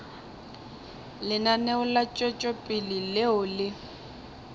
lenaneo la tšwetšopele leo le